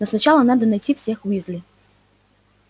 но сначала надо найти всех уизли